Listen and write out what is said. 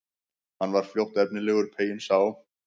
Hann var fljótt efnilegur, peyinn sá.